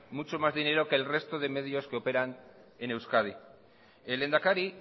mucho más dinero que el resto de medios que operan en euskadi el lehendakari